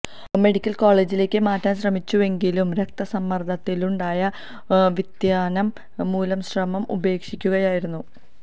medical കോളജിലേക്ക് മാറ്റാന് ശ്രമിച്ചുവെങ്കിലും രക്തസമ്മര്ദ്ദത്തിലുണ്ടായ വ്യതിയാനം മൂലം ശ്രമം ഉപേക്ഷിക്കുകയായിരുന്നു